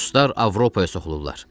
Ruslar Avropaya soxulurlar.